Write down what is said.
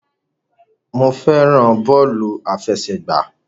Mo fẹ́ràn bọ́ọ̀lù àfẹsẹ̀gbá.